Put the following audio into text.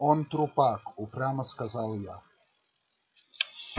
он трупак упрямо сказал я